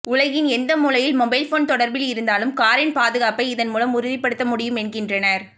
உலகின் எந்த மூலையில் மொபைல்போன் தொடர்பில் இருந்தாலும் காரின் பாதுகாப்பை இதன் மூலம் உறுதிப்படுத்த முடியும் என்கின்றனர்